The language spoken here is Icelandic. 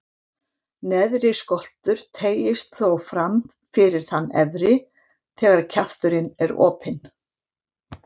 Neðri skoltur teygist þó fram fyrir þann efri, þegar kjafturinn er opinn.